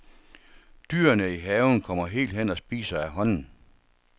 Dyrene i haven kommer helt hen og spiser af hånden.